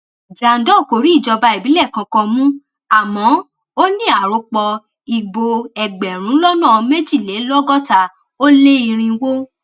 jandor kò rí ìjọba ìbílẹ kankan mu àmọ ó ní arọpò ìbò ẹgbẹrún lọnà méjìlélọgọta ó lé irínwó